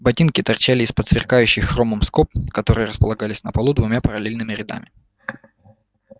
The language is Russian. ботинки торчали из-под сверкающих хромом скоб которые располагались на полу двумя параллельными рядами